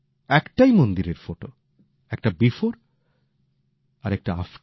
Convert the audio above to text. একটা মন্দিরের ফটো একটা আগের আরেকটা বর্তমানের